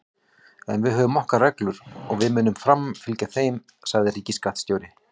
En við höfum okkar reglur og við munum framfylgja þeim, sagði ríkisskattstjóri